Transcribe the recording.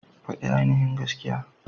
Fadi ainihin gaskiya.